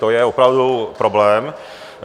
To je opravdu problém.